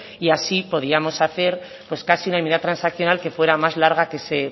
y así podríamos hacer casi una enmienda transaccional que fuera más larga que ese